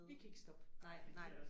Vi kan ikke stoppe